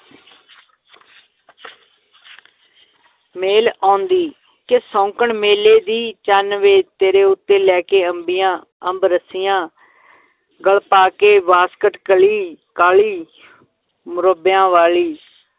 ਮੇਲ ਆਉਂਦੀ ਕਿ ਸ਼ੌਂਕਣ ਮੇਲੇ ਦੀ, ਚੰਨ ਵੇ ਤੇਰੇ ਉੱਤੇ ਲੈ ਕੇ ਅੰਬੀਆਂ ਅੰਬ ਰਸੀਆਂ ਗਲ ਪਾ ਕੇ ਵਾਸਕਟ ਕਲੀ ਕਾਲੀ ਮੁਰੱਬਿਆਂ ਵਾਲੀ,